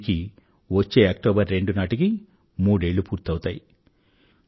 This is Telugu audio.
దీనికి వచ్చే అక్టోబర్ రెండు నాటికి మూడేళ్ళు పూర్తవుతాయి